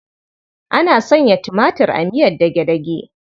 Ana sanya tumatir a miyar dage-dage.